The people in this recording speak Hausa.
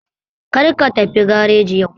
Kar ka tafi gareji yau